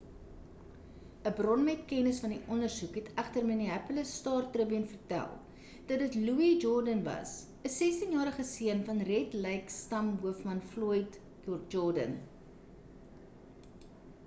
'n bron met kennis van die ondersoek het egter die minneapolis star-tribune vertel dat dit louis jourdain was 'n 16-jarige seun van red lake stam hoofman floyd jourdain